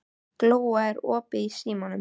Glóa, er opið í Símanum?